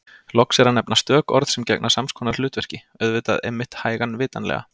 Loks er að nefna stök orð sem gegna sams konar hlutverki: auðvitað einmitt hægan vitanlega